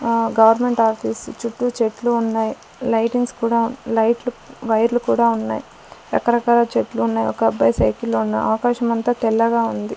ఆ government office చుట్టూ చెట్లు ఉన్నాయి లైటింగ్స్ కూడా లైట్లు వైర్లు కూడా ఉన్నాయ్ రకరకాల చెట్లు ఉన్నాయి ఒకబ్బాయి సైకిల్ లో ఉన్నా ఆకాశం అంతా తెల్లగా ఉంది.